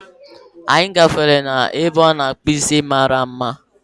Anyị gafere n'ebe a na-akpu isi mara mma